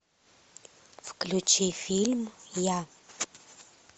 включи фильм я